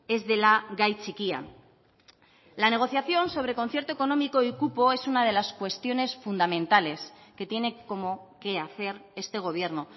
ez dela gai txikia la negociación sobre concierto económico y cupo es una de las cuestiones fundamentales que tiene como quehacer este gobierno